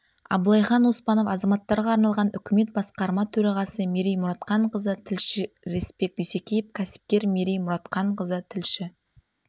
абылайхан оспанов азаматтарға арналған үкімет басқарма төрағасы мерей мұратханқызы тілші рысбек дүйсекеев кәсіпкер мерей мұратханқызы тілші